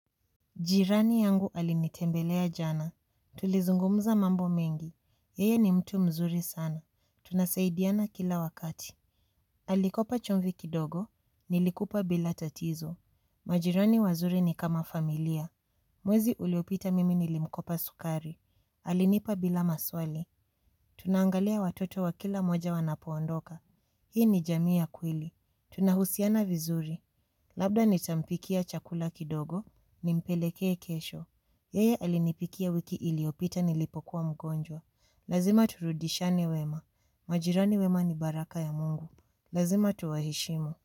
Jirani yangu alinitembelea jana. Tulizungumza mambo mengi. Yeye ni mtu mzuri sana. Tunasaidiana kila wakati. Alikopa chumvi kidogo. Nilikupa bila tatizo. Majirani wazuri ni kama familia. Mwezi uliopita mimi nilimkopa sukari. Alinipa bila maswali. Tunaangalia watoto wa kila mmoja wanapoondoka. Hii ni jamii ya kweli. Tunahusiana vizuri. Labda nitampikia chakula kidogo. Nimpelekee kesho. Yeye alinipikia wiki iliopita nilipokuwa mgonjwa. Lazima turudishane wema. Majirani wema ni baraka ya Mungu. Lazima tuwaheshimu.